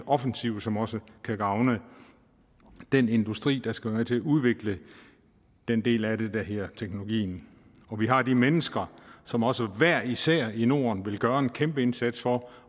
offensiv som også kan gavne den industri der skal være med til at udvikle den del af det der hedder teknologien og vi har de mennesker som også hver især i norden vil gøre en kæmpe indsats for